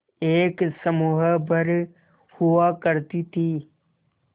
एक समूह भर हुआ करती थी